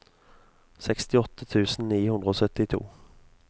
sekstiåtte tusen ni hundre og syttito